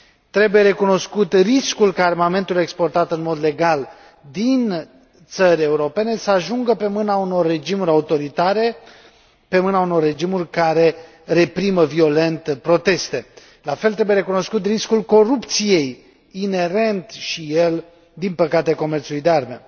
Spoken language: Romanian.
Trebuie recunoscut riscul ca armamentul exportat în mod legal din țări europene să ajungă pe mâna unor regimuri autoritare, pe mâna unor regimuri care reprimă violent protestele. La fel, trebuie recunoscut riscul corupției, inerent și el, din păcate, comerțului de arme.